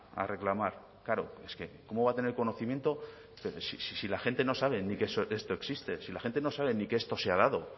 a reclamar claro es que cómo va a tener conocimiento si la gente no sabe ni que esto existe si la gente no sabe ni que esto se ha dado